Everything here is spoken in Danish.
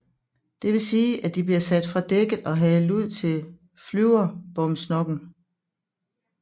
Det vil sige at de bliver sat fra dækket og halet ud til klyverbomsnokken